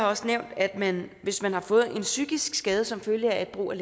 også nævnt at hvis man har fået en psykisk skade som følge af brug af